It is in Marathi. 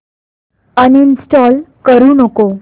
अनइंस्टॉल करू नको